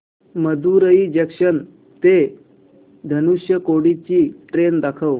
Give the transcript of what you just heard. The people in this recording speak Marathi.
मदुरई जंक्शन ते धनुषकोडी ची ट्रेन दाखव